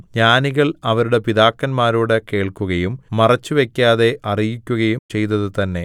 ജ്ഞാനികൾ അവരുടെ പിതാക്കന്മാരോട് കേൾക്കുകയും മറച്ചുവയ്ക്കാതെ അറിയിക്കുകയും ചെയ്തതു തന്നേ